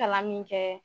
Kalan min kɛ